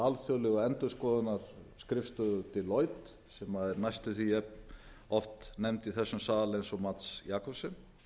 alþjóðlegu endurskoðunarskrifstofu deloitte sem er næstum því jafnoft nefnd í þessum sal og mats jakobsen